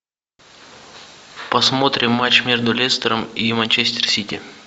посмотрим матч между лестером и манчестер сити